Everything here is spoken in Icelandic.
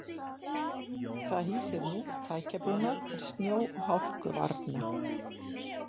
Það hýsir nú tækjabúnað til snjó og hálkuvarna.